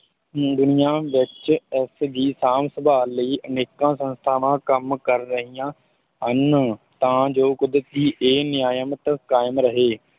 ਨੂੰ ਦੁਨੀਆਂ ਵਿੱਚ ਇਸ ਦੀ ਸਾਂਭ ਸੰਭਾਲ ਲਈ ਅਨੇਕਾਂ ਸੰਸਥਾਵਾਂ ਕੰਮ ਕਰ ਰਹੀਆਂ ਹਨ, ਤਾਂ ਜੋ ਕੁਦਰਤ ਦੀ ਇਹ ਨਿਆਮਤ ਕਾਇਮ ਰਹੇ।